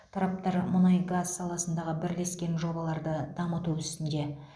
тараптар мұнай газ саласындағы бірлескен жобаларды дамыту үстінде